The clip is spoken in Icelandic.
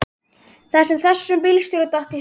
Það sem þessum bílstjóra datt í hug.